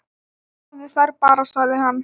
Hafðu þær bara, sagði hann.